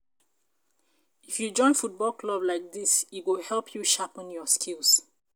If you join football club like dis, e go help you sharpen your skills.